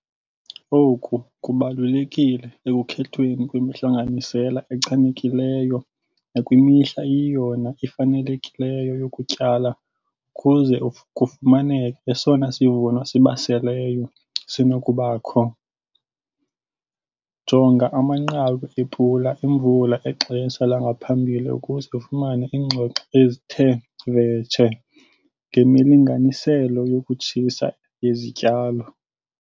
Oku kubalulekile ekukhethweni kwemihlanganisela echanekileyo nakwimihla eyiyona ifanelekileyo yokutyala ukuze kufumaneke esona sivuno sibaseleyo sinokubakho. Jonga amanqaku ePula Imvula exesha langaphambili ukuze ufumane iingxoxo ezithe vetshe ngemilinganiselo yokutshisa izityalo.